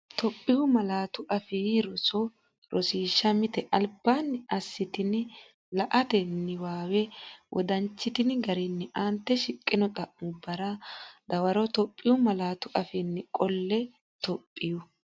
Itophiyu Malaatu Afii Roso Rosiishsha Mite Albaanni assitini la”ate niwaawe wodanchitini garinni aante shiqqino xa’mubbara dawaroItophiyu malaatu afiinni qolle Itophiyu.